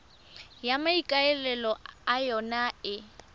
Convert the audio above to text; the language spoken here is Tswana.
e maikaelelo a yona e